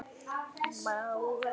Maul á eftir.